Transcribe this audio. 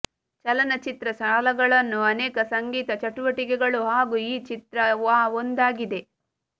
ಚಲನಚಿತ್ರ ಸಾಲಗಳನ್ನು ಅನೇಕ ಸಂಗೀತ ಚಟುವಟಿಕೆಗಳು ಹಾಗೂ ಈ ಚಿತ್ರ ಆ ಒಂದಾಗಿದೆ